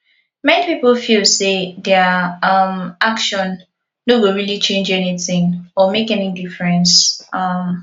many pipo feel sey their um action no go really change anything or make any difference um